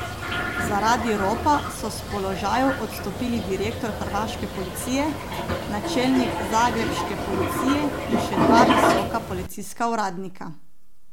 Zaradi ropa so s položajev odstopili direktor hrvaške policije, načelnik zagrebške policije in še dva visoka policijska uradnika.